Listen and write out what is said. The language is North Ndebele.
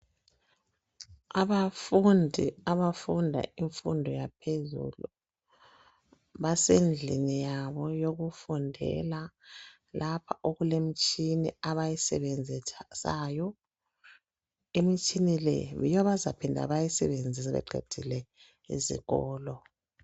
Abafundi abafunda imfundo yaphezulu, basendlini yabo yokufundela, lapha okule m'tshini abayisebenzisayo. Im'tshini le yiyo abazaphinda bayisebenzise beqedile esikolo.